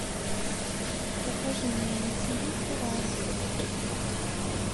покажи мне на тиви курай